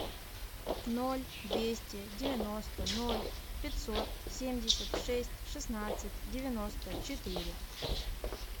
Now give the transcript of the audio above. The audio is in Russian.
ноль двести девяносто ноль пятьсот семьдесят шесть шестнадцать девяносто четыре